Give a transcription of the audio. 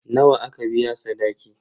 Nawa aka biya sadaki?